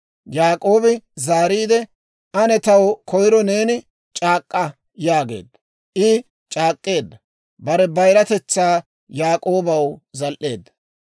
Yaak'oobi zaariide, «Ane taw koyro neeni c'aak'k'a» yaageedda. I c'aak'k'eedda; bare bayiratetsaa Yaak'oobaw zal"eedda.